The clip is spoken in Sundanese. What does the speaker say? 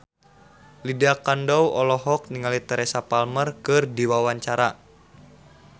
Lydia Kandou olohok ningali Teresa Palmer keur diwawancara